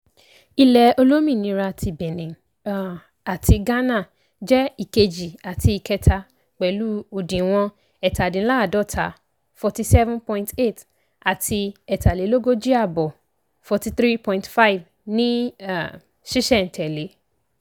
ilẹ̀ olómìnira ti benin um àti ghana jẹ́ ìkejì àti ìkẹta pẹ̀lú òdiwọ̀n ẹ́tàdínláàádọ́ta ( forty seven point eight ) àti ẹ́tàlélógójì àbọ̀ ( forty three point five ) ní sísẹ̀ntẹ̀lé.